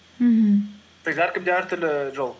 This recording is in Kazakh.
мхм әркімде әртүрлі жол